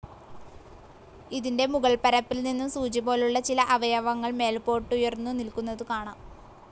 ഇതിന്റെ മുകൾപ്പരപ്പിൽനിന്നും സൂചിപോലുള്ള ചില അവയവങ്ങൾ മേല്പോട്ടുയർന്നു നില്ക്കുന്നതു കാണാം.